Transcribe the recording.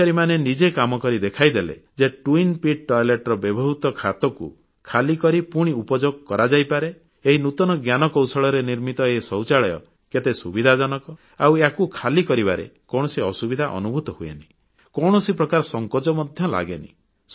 ଅଧିକାରୀମାନେ ନିଜେ କାମକରି ଦେଖାଇଲେ ଯେ ଦୁଇ ଟାଙ୍କି ବିଶିଷ୍ଟ ପାଇଖାନାରେ ବ୍ୟବହୃତ ଖାତକୁ ଖାଲି କରି ପୁଣି ଉପଯୋଗ କରାଯାଇପାରେ ଏହି ନୂତନ ଜ୍ଞାନକୌଶଳରେ ନିର୍ମିତ ଏ ଶୌଚାଳୟ କେତେ ସୁବିଧାଜନକ ଆଉ ୟାକୁ ଖାଲି କରିବାରେ କୌଣସି ଅସୁବିଧା ଅନୁଭୂତ ହୁଏନି କୌଣସି ପ୍ରକାର ସଂକୋଚ ମଧ୍ୟ ଲାଗେନି